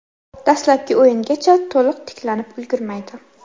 Dastlabki o‘yingacha to‘liq tiklanib ulgurmaydi.